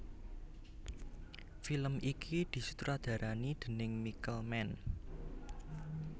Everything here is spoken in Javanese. Film iki disutradarani déning Michael Mann